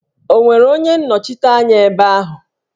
Ọ nwere onye nnọchiteanya ebe ahụ?